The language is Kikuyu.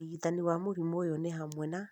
ũrigiti wa mũrimũ ũyũ nĩ hamwe na